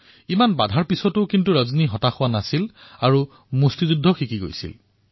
ইমান বাধাৰ পিছতো ৰজনী নিৰুৎসাহিত নহল আৰু বক্সিঙৰ প্ৰশিক্ষণ লৈ থাকিল